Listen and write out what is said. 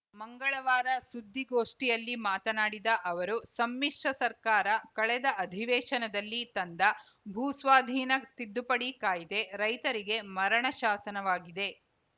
ಮಂಗಳವಾರ ಸುದ್ದಿಗೋಷ್ಠಿಯಲ್ಲಿ ಮಾತನಾಡಿದ ಅವರು ಸಮ್ಮಿಶ್ರ ಸರ್ಕಾರ ಕಳೆದ ಅಧಿವೇಶನದಲ್ಲಿ ತಂದ ಭೂಸ್ವಾಧೀನ ತಿದ್ದುಪಡಿ ಕಾಯ್ದೆ ರೈತರಿಗೆ ಮರಣ ಶಾಸನವಾಗಿದೆ